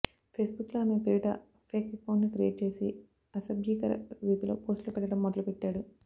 ఫేస్బుక్లో ఆమె పేరిట ఫేక్ అకౌంట్ను క్రియేట్ చేసి అసభ్యకర రీతిలో పోస్టులు పెట్టడం మొదలుపెట్టాడు